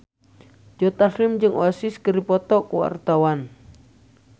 Joe Taslim jeung Oasis keur dipoto ku wartawan